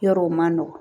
Yɔrɔw ma nɔgɔ